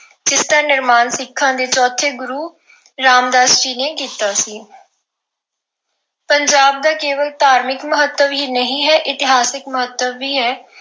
ਇਸ ਨਿਰਮਾਣ ਸਿੱਖਾਂ ਦੇ ਚੌਥੇ ਗੁਰੂ ਰਾਮਦਾਸ ਜੀ ਨੇ ਕੀਤਾ ਸੀ। ਪੰਜਾਬ ਦਾ ਕੇਵਲ ਧਾਰਮਿਕ ਮਹੱਤਵ ਹੀ ਨਹੀਂ ਹੈ, ਇਤਿਹਾਸਿਕ ਮਹੱਤਵ ਵੀ ਹੈ।